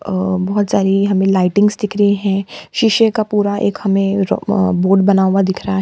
अ बहोत सारी हमें लाइटिंग्स दिख रही है। शीशे का पूरा एक हमें र्-अं बोर्ड बना हुआ दिख रहा है।